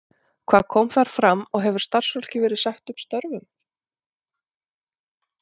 Hvað kom þar fram og hefur starfsfólki verið sagt upp störfum?